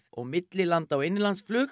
millilanda og innanlandsflug